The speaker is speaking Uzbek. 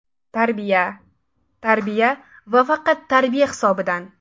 Tarbiya, tarbiya va faqat tarbiya hisobidan.